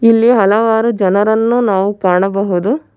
ಇಲ್ಲಿ ಹಲವಾರು ಜನರನ್ನು ನಾವು ಕಾಣಬಹುದು.